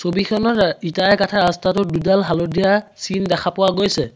ছবিখনৰ ইটাৰে গঠা ৰস্তাটোত দুডাল হালধীয়া চিন দেখা পোৱা গৈছে।